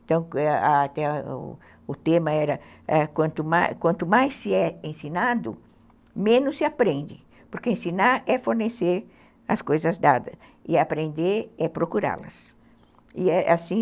Então, o era tema era, ãh, Quanto mais se é ensinado, menos se aprende, porque ensinar é fornecer as coisas dadas e aprender é procurá-las. assim